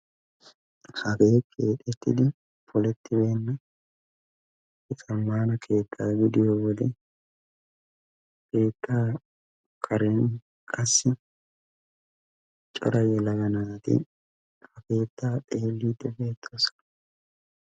Hagee keexxettidi polettibeena zaammaana keettaa gidiyode keettaa karen qassi cora yelaga naati ha keettaa xeellidi beettooson.